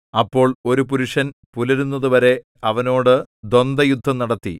അപ്പോൾ ഒരു പുരുഷൻ പുലരുന്നതുവരെ അവനോട് ദ്വന്ദയുദ്ധം നടത്തി